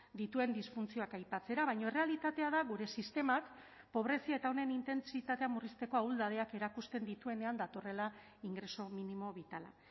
dituen disfuntzioak aipatzera baina errealitatea da gure sistemak pobrezia eta honen intentsitatea murrizteko ahuldadeak erakusten dituenean datorrela ingreso minimo bitala